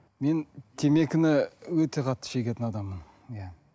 мен темекіні өте қатты шегетін адаммын иә